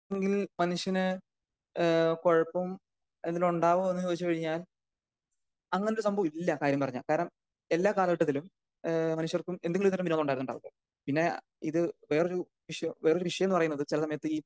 ന്നെങ്കിൽ മനുഷ്യന് ഏഹ് കുഴപ്പവും ഇതിന് ഉണ്ടാവോ എന്ന് ചോയിച്ചു കഴിഞ്ഞാൽ അങ്ങനെ ഒരു സംഭവം ഇല്ല കാര്യം പറഞ്ഞാൽ കാരണം എല്ലാ കാല ഘട്ടത്തിലും ഏഹ് മനുഷ്യർക്കും എന്തെങ്കിലും തരത്തിലുള്ള വിരോധം ഉണ്ടായിട്ടുണ്ടാവുമല്ലോ പിന്നെ ഇത് വേറൊരു വിഷയം വേറൊരു വിഷയം എന്ന് പറയുന്നത് ചില സമയത്ത് ഈ